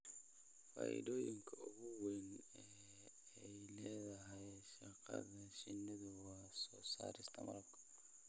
Faa'iidooyinka ugu waaweyn ee ay leedahay dhaqashada shinnidu waa soo saarista malabka.